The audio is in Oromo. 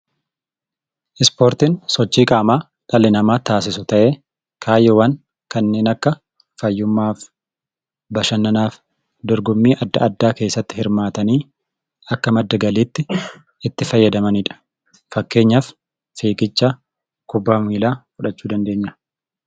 Ispoortiin sochii qaamaa dhalli namaa taasisu ta'ee kaayyoowwan akka fayyummaaf, dorgommii addaa addaa keessatti hirmaatanii akka madda galiitti itti gargaaramanidha. Fakkeenyaaf fiigicha, kubbaa miilaa fudhachuu dandeenya.